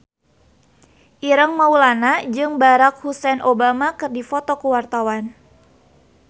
Ireng Maulana jeung Barack Hussein Obama keur dipoto ku wartawan